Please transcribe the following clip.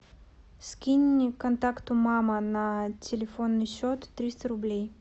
скинь контакту мама на телефонный счет триста рублей